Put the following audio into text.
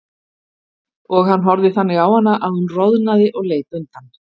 Og hann horfði þannig á hana að hún roðnaði og leit undan.